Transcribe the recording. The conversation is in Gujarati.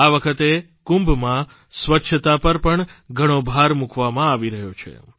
આ વખતે કુંભમાં સ્વચ્છતા પર પણ ઘણો ભાર મૂકવામાં આવી રહ્યો છે